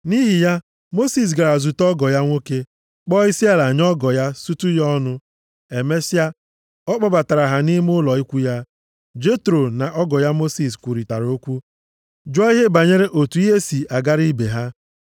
Nʼihi ya, Mosis gara zute ọgọ ya nwoke, kpọọ isiala nye ọgọ ya, sutu ya ọnụ. Emesịa, ọ kpọbatara ha nʼime ụlọ ikwu ya. Jetro na ọgọ ya Mosis kwurịtara okwu, jụọ ihe banyere otu ihe si agara ibe ha.